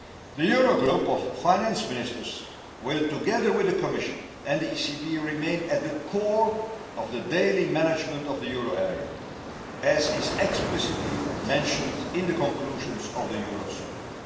The Eurogroup of Finance Ministers will, together with the Commission and the ECB, remain at the core of the daily management of the euro area, as is explicitly mentioned in the conclusions of the Eurozone Summit.